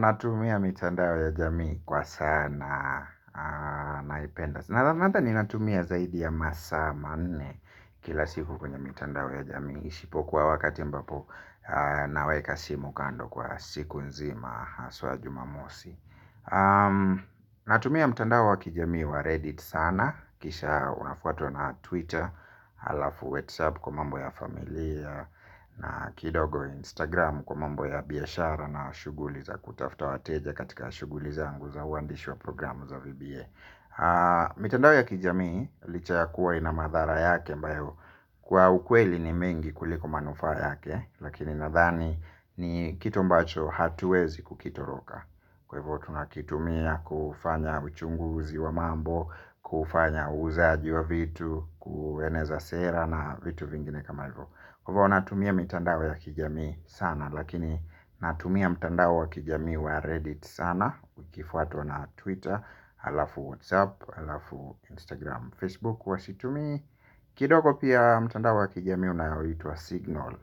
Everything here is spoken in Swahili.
Natumia mitandao ya jamii kwa sana naipenda. Nathani natumia zaidi ya masa maane kila siku kwenye mitandao ya jamii ishipokuwa wakati ambapo naweka simu kando kwa siku nzima haswa jumamosi. Natumia mitandao wa kijamii wa reddit sana kisha unafuatwa na twitter alafu whatsapp kwa mambo ya familia na kidogo Instagram kwa mambo ya biyashara na shuguli za kutafuta wateja katika shuguli zangu za uwandishi wa programu za VBA. Mitandao ya kijamii licha ya kuwa ina madhara yake ambayo kwa ukweli ni mingi kuliko manufaa yake. Lakini nadhani ni kitu ambacho hatuwezi kukitoroka. Kwa hivo tunakitumia kufanya uchunguzi wa mambo. Kufanya uzaji wa vitu kueneza sera na vitu vingine kama hivyo. Kwa hivo natumia mtandao ya kijamii sana. Lakini natumia mtandao wa kijamii wa reddit sana. Ukifuatwa na twitter alafu whatsapp, alafu instagram, facebook. Kwa situmi kidogo pia mtandao ya kijamii unaoitwa signal.